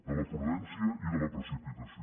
de la prudència i de la precipitació